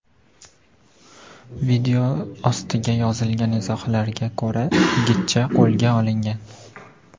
Video ostiga yozilgan izohlarga ko‘ra, yigitcha qo‘lga olingan.